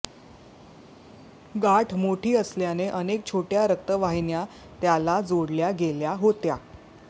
गाठ मोठी असल्याने अनेक छोट्या रक्तवाहिन्या त्याला जोडल्या गेल्या होत्या